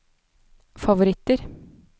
favoritter